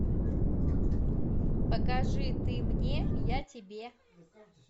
покажи ты мне я тебе